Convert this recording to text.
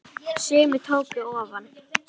Sumir tóku ofan!